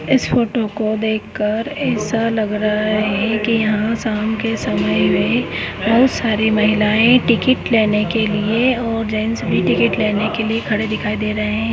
इस फोटो को देखकर ऐसा लग रहा है की यहाँ शामकी समय मे बहुत सारी महिलाये टिकेट लेने के लिए और जेन्ट्स भी टिकेट लेने के लिए खडे दिखाइ दे रही है।